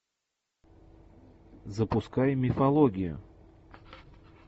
запускай мифологию